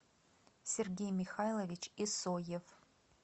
сергей михайлович исоев